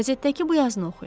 Qəzetdəki bu yazını oxuyun.